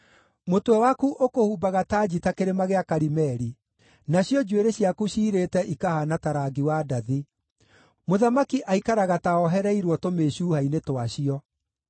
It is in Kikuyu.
Mũtwe waku ũkũhumbaga tanji ta Kĩrĩma gĩa Karimeli. Nacio njuĩrĩ ciaku ciirĩte ikahaana ta rangi wa ndathi; mũthamaki aikaraga ta oohereirwo tũmĩcuha-inĩ twacio.